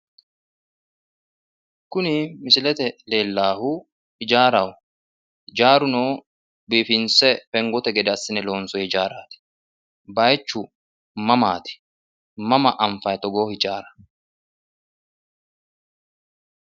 Kuni misilete leellannohu ijaaraho ijaaruno biifinse fengote gede assine loonsoyi ijaaraati? bayichu mamaati? mama anfanni togoo ijaara?